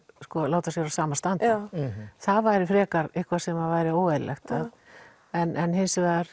láta sér á sama standa það væri frekar eitthvað sem að væri óeðlilegt en hins vegar